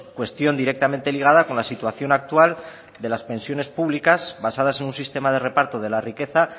cuestión directamente ligada con la situación actual de las pensiones públicas basadas en un sistema de reparto de la riqueza